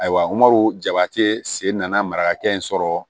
Ayiwa jabɛti sen nana mara hakɛ in sɔrɔ